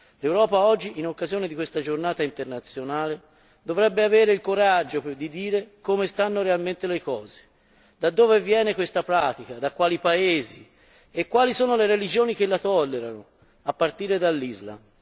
L'Europa oggi, in occasione di questa giornata internazionale, dovrebbe avere il coraggio di dire come stanno realmente le cose, da dove viene questa pratica, da quali paesi, e quali sono le religioni che la tollerano, a partire dall'Islam.